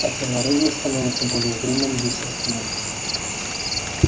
а тело реддла становится более зримым вещественным